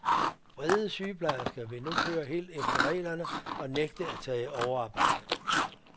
Vrede sygeplejersker vil nu køre helt efter reglerne og nægte at tage overarbejde.